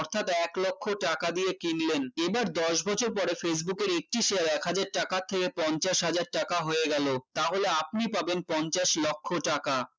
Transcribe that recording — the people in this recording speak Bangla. অর্থাৎ এক লক্ষ টাকা দিয়ে কিনলেন এবার দশ বছর পরে facebook এর একটি share এক হাজার টাকার থেকে পঞ্চাশ হাজার টাকা হয়ে গেল তাহলে আপনি পাবেন পঞ্চাশ লক্ষ টাকা